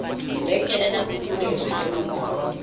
lebenkele la phokoletso le nomoro